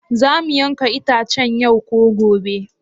Za mu yanka itacen yau ko gobe?